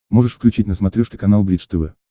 можешь включить на смотрешке канал бридж тв